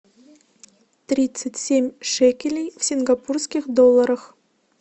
тридцать семь шекелей в сингапурских долларах